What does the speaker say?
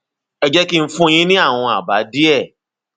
ẹ jẹ kí n fún yín ní àwọn àbá díẹ